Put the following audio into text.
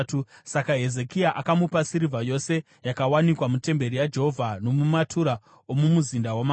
Saka Hezekia akamupa sirivha yose yakawanikwa mutemberi yaJehovha nomumatura omumuzinda wamambo.